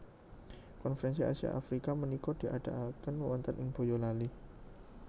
Konferensi Asia Afrika menika diadaaken wonten ing Boyolali